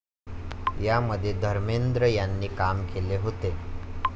या मध्ये धर्मेंद्र यांनी काम केले होते.